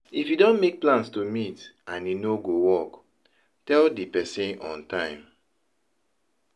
if you don make plans to meet and e no go work, tell di person on time